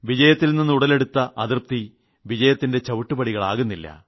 വിജയത്തിൽ നിന്ന് ഉടലെടുത്ത അതൃപ്തി വിജയത്തിന്റെ ചവിട്ടുപടികളാകുന്നില്ല